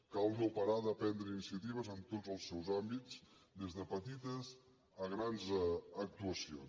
cal no parar de prendre iniciatives en tots els seus àmbits des de petites a grans actuacions